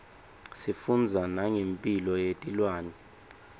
sifundza nangemphilo yetilwane